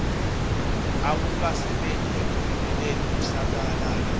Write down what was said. akukasebenti ekuvimbeleni kusabalala